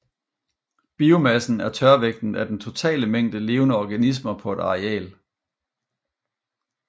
Biomassen er tørvægten af den totale mængde levende organismer på et areal